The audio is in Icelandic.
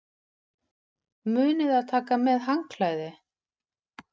Munið að taka með handklæði!